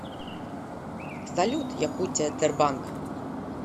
салют якутия тербанк